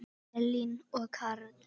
Elín og Karl.